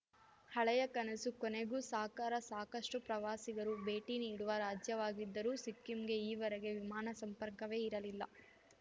ಹಳೆಯ ಕನಸು ಕೊನೆಗೂ ಸಾಕಾರ ಸಾಕಷ್ಟುಪ್ರವಾಸಿಗರು ಭೇಟಿ ನೀಡುವ ರಾಜ್ಯವಾಗಿದ್ದರೂ ಸಿಕ್ಕಿಂಗೆ ಈವರೆಗೆ ವಿಮಾನ ಸಂಪರ್ಕವೇ ಇರಲಿಲ್ಲ